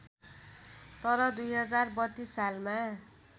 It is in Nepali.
तर २०३२ सालमा